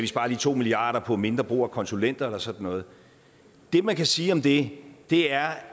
sparer to milliard kroner på mindre brug af konsulenter eller sådan noget det man kan sige om det er